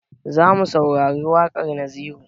Zamu saurari waƙar naziru